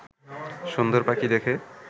সুন্দর পাখি দেখে